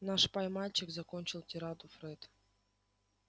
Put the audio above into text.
наш пай-мальчик закончил тираду фред